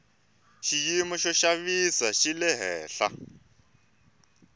xiyimo xo xavisa xi le hehla